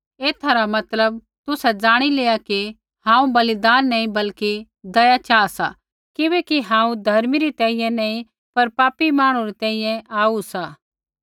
एथा रा मतलब तुसै ज़ाणि लेआ कि हांऊँ बलिदान नी बल्कि दया चाहा सा किबैकि हांऊँ धर्मी री तैंईंयैं नी पर पापी मांहणु री तैंईंयैं आऊ सा